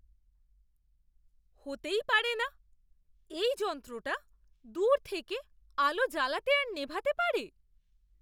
হতেই পারে না! এই যন্ত্রটা দূর থেকে আলো জ্বালাতে আর নেভাতে পারে?